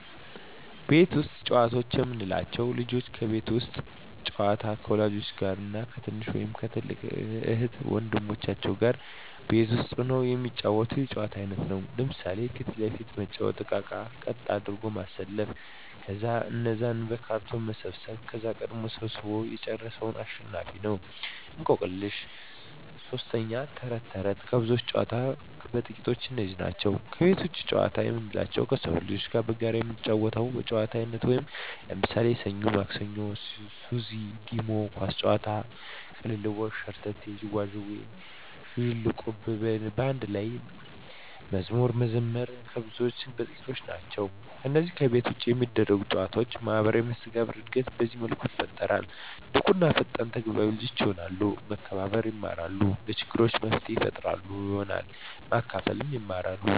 ቤት ውስጥ ጨዋታዎች የምንላቸው፦ ልጆች የቤት ውስጥ ጨዋታ ከወላጆች ጋር እና ከትንሽ ወይም ከትልቅ እህት ወንድሞቻቸው ጋር ቤት ውስጥ ሁነው የሚጫወቱት የጨዋታ አይነት ነው። ለምሣሌ 1. ፊት ለፊት መጫዎቻ እቃቃዎችን ቀጥ አድርጎ ማሠለፍ ከዛ እነዛን በካርቶን መሰብሠብ ከዛ ቀድሞ ሠብስቦ የጨረሠ አሸናፊ ነው፤ 2. እቆቅልሽ 3. ተረት ተረት ከብዙዎች ጨዋታዎች በጥቃቱ እነዚህ ናቸው። ከቤት ውጭ ጨዋታ የምንላቸው ከሠፈር ልጆች ጋር በጋራ የምንጫወተው የጨዋታ አይነት ነው። ለምሣሌ፦ ሠኞ ማክሠኞ፤ ሱዚ፤ ዲሞ፤ ኳስ ጨዋታ፤ ቅልልቦሽ፤ ሸርተቴ፤ ዥዋዥዌ፤ ዝልቁብ፤ በአንድ ላይ መዝሙር መዘመር ከብዙዎቹ በጥቂቱ እነዚህ ናቸው። ከነዚህ ከቤት ውጭ ከሚደረጉ ጨዎች ማህበራዊ መስተጋብር እድገት በዚህ መልኩ ይፈጠራል። ንቁ እና ፈጣን ተግባቢ ልጆች የሆናሉ፤ መከባበር የማራሉ፤ ለችግር መፍትሔ ፈጣሪ ይሆናሉ፤ ማካፈልን ይማራ፤